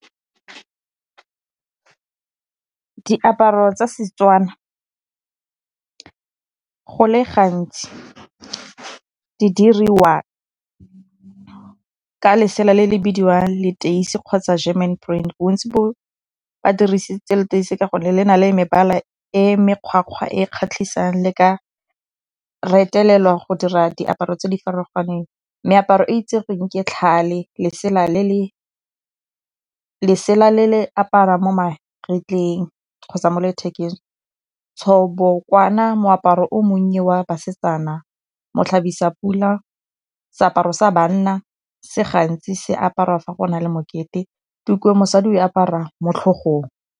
Diaparo tsa Setswana go le gantsi di diriwa ka lesela le le bidiwang leteisi kgotsa German . Ba badirisitse leteisi ka gonne le na le mebala e mekgwa-kgwa e kgatlhisang, le ka retelelwa go dira diaparo tse di farologaneng. Meaparo e itseweng ke tlhale, lesela le le aparwa mo magetleng kgotsa mo lethekeng. Tshobokwana, moaparo o monnye wa basetsana. Mo tlhabisa-pula, seaparo sa banna se gantsi se aparwa fa go na le mokete, tuku ya mosadi e aparwa mo tlhogong.